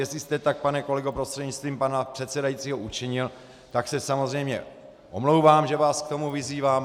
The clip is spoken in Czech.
Jestli jste tak, pane kolego prostřednictvím pana předsedajícího, učinil, tak se samozřejmě omlouvám, že vás k tomu vyzývám.